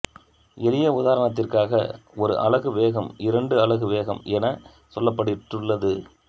எளிய உதாரணத்திற்காக ஒரு அலகு வேகம் இரண்டு அலகு வேகம் என சொல்லப்பட்டுள்ளது